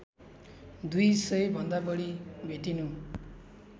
दुई सयभन्दा बढी भेटिनु